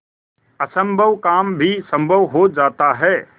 असम्भव काम भी संभव हो जाता है